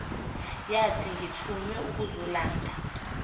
nyathi ngithunywe ukuzolanda